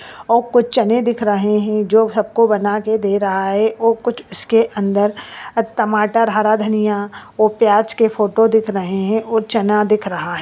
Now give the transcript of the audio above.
और कुछ चने दिख रहे है | जो सबको बना के दे रहा है और कुछ उसके अंदर टमाटर हरा धनिया और प्याज के फोटो दिख रहे है।